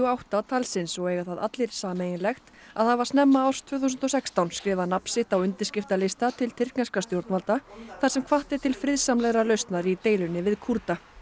átta talsins og eiga það allir sameiginlegt að hafa snemma árs tvö þúsund og sextán skrifað nafn sitt á undirskriftalista til tyrkneskra stjórnvalda þar sem hvatt er til friðsamlegrar lausnar í deilunni við Kúrda